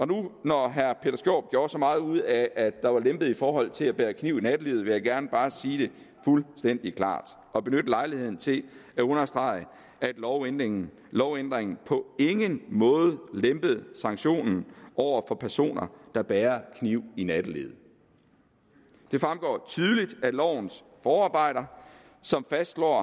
nu når herre peter skaarup gjorde så meget ud af at der var lempet i forhold til at bære kniv i nattelivet vil jeg bare gerne sige fuldstændig klart og benytte lejligheden til at understrege at lovændringen lovændringen på ingen måde lempede sanktionen over for personer der bærer kniv i nattelivet det fremgår tydeligt af lovens forarbejder som fastslår